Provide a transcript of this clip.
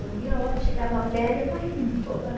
Não via a hora que chegava a féria para ir embora.